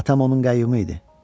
Atam onun qayyumu idi.